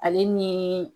Ale ni